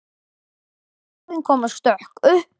Blöðin koma stök upp.